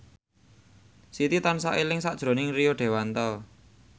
Siti tansah eling sakjroning Rio Dewanto